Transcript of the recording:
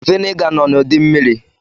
Viniga nọ n'ụdị mmiri.